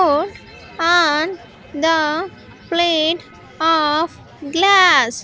on the plate of glass.